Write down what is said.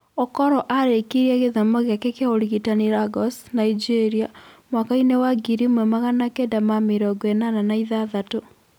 Okoro aarĩkirie gĩthomo gĩake kĩa ũrigitani Lagos, Nigeria, mwakainĩ wa ngiri ĩmwe maganakenda ma mĩrongo ĩnana na ithathatũ